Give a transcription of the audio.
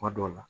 Kuma dɔw la